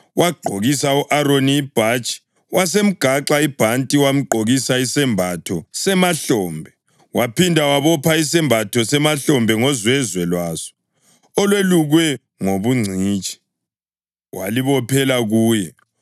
Wagqokisa u-Aroni ibhatshi, wasemgaxa ibhanti, wamgqokisa isembatho semahlombe, waphinda wabopha isembatho semahlombe ngozwezwe lwaso olwelukwe ngobungcitshi; walibophela kuye.